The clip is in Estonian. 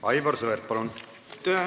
Aivar Sõerd, palun!